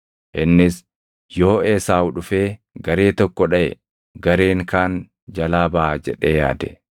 Innis, “Yoo Esaawu dhufee garee tokko dhaʼe, gareen kaan jalaa baʼa” jedhee yaade.